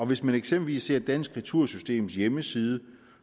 hvis man eksempelvis ser på dansk retursystems hjemmeside